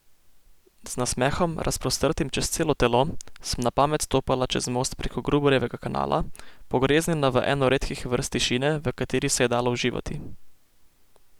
Z nasmehom, razprostrtim čez celo telo, sem na pamet stopala čez most preko Gruberjevega kanala, pogreznjena v eno redkih vrst tišine, v kateri se je dalo uživati.